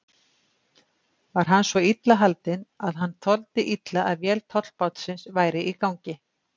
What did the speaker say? Var hann svo illa haldinn, að hann þoldi illa að vél tollbátsins væri í gangi.